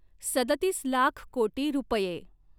सदतीस लाख कोटी रूपए